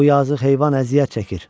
Bu yazıq heyvan əziyyət çəkir.